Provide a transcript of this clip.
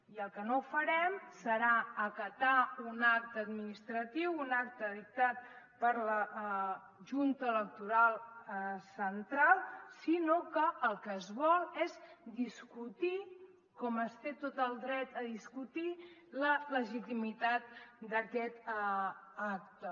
i el que no farem serà acatar un acte administratiu un acte dictat per la junta electoral central sinó que el que es vol és discutir com es té tot el dret a discutir la legitimitat d’aquest acte